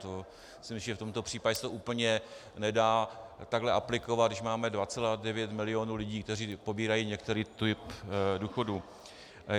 To si myslím, že v tomto případě se úplně nedá takhle aplikovat, když máme 2,9 milionu lidí, kteří pobírají některý typ důchodu.